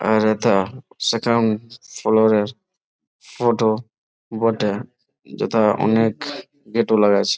আর হেথা second floor এর photo বটে ।যেথা অনেক গেট ও লাগাইছে ।